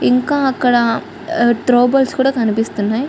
ఇంకా అక్కడ throw balls కూడా కనిపిస్తున్నాయి.